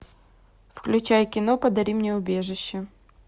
включай кино подари мне убежище